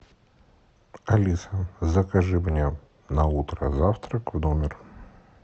алиса закажи мне на утро завтрак в номер